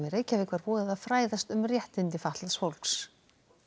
Reykjavík var boðið að fræðast um réttindi fatlaðs fólks